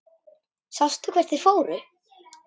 Sástu hvert þeir fóru?